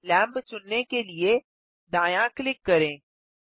lamp चुनने के लिए दायाँ क्लिक करें